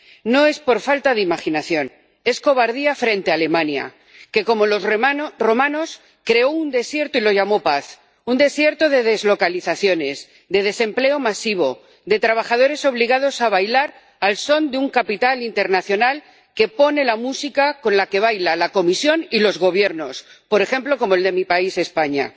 No es por falta de imaginación, es cobardía frente a Alemania que, como los romanos, creó un desierto y lo llamó paz. Un desierto de deslocalizaciones, de desempleo masivo, de trabajadores obligados a bailar al son de un capital internacional que pone la música con la que bailan la Comisión y los gobiernos —por ejemplo, como el de mi país, España—.